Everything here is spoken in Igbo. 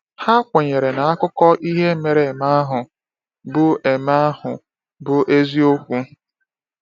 Ha kwenyere na akụkọ ihe mere eme ahụ bụ eme ahụ bụ eziokwu.